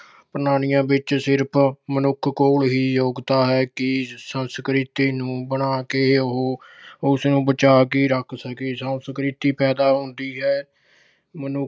ਪ੍ਰਣਾਲੀਆਂ ਵਿੱਚ ਸਿਰਫ਼ ਮਨੁੱਖ ਕੋਲ ਹੀ ਯੋਗਤਾ ਹੈ ਕਿ ਸੰਸਕ੍ਰਿਤੀ ਨੂੰ ਬਣਾ ਕੇ ਉਹ ਉਸਨੂੰ ਬਚਾ ਕੇ ਰੱਖ ਸਕੇ। ਸੰਸਕ੍ਰਿਤੀ ਪੈਦਾ ਹੁੰਦੀ ਏ ਮਨੁੱਖ